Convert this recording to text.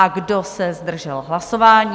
A kdo se zdržel hlasování?